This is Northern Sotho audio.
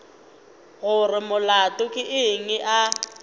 gore molato ke eng a